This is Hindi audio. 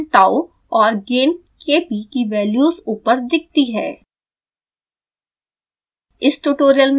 टाइम कांस्टेंट tau और गेन kp की वैल्यूज़ ऊपर दिखती हैं